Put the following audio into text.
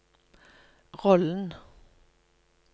rollen